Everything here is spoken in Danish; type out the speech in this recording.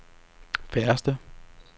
færreste